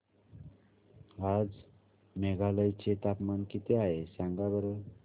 आज मेघालय चे तापमान किती आहे सांगा बरं